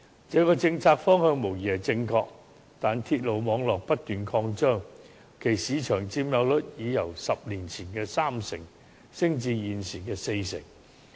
這個政策方向無疑是正確的，但鐵路網絡不斷擴張，其市場佔有率已由10年前的三成升至現時的四成。